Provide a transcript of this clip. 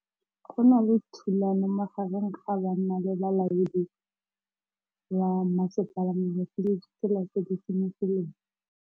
Go na le thulanô magareng ga banna le molaodi wa masepala mabapi le ditsela tse di senyegileng.